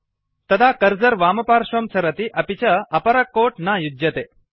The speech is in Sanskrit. तदा कर्सर वामपार्श्वं सरति अपि च अपर कोट् न युज्यते